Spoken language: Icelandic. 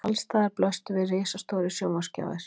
Alls staðar blöstu við risastórir sjónvarpsskjáir